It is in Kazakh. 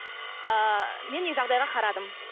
ы мен де жағдайға қарадым